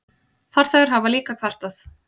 Farþegar hafa líka kvartað.